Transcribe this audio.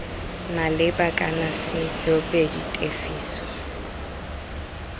maleba kana c tsoopedi tefiso